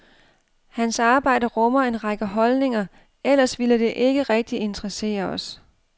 Hans arbejde rummer en række holdninger, ellers ville det ikke rigtig interessere os.